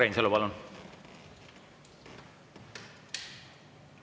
Urmas Reinsalu, palun!